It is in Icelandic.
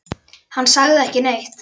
Hann sagði ekki neitt.